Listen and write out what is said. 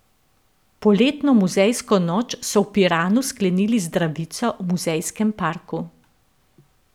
Poletno muzejsko noč so v Piranu sklenili z zdravico v muzejskem parku.